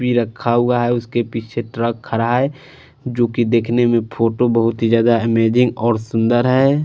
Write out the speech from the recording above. भी रखा हुआ है उसके पीछे ट्रक खड़ा हुआ है जोकि दिखने में फोटो बहोत ही ज्यादा इमेजिंग और सुंदर है।